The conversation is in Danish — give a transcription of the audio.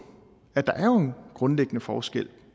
at der jo er en grundlæggende forskel